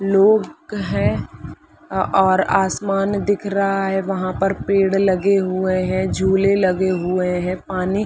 लोग हैं और आसमान दिख रहा है वहाँ पर पेड़ लगे हुए हैं झूले लगे हुए हैं पानी --